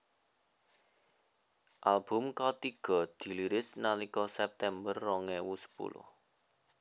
Album katiga diliris nalika September rong ewu sepuluh